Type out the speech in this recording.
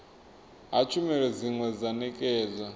ha tshumelo dzine dza ṋetshedzwa